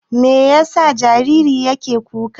Me yasa jaririn yake kuka?